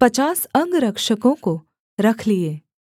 पचास अंगरक्षकों को रख लिए